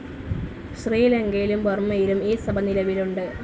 ശ്രീലങ്കയിലും ബർമയിലും ഈ സഭ നിലവിലുണ്ട്.